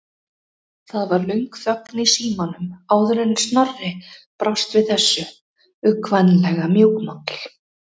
Það varð löng þögn í símanum áður en Snorri brást við þessu, uggvænlega mjúkmáll.